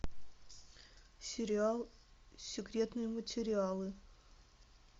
сериал секретные материалы